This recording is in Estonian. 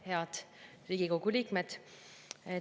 Head Riigikogu liikmed!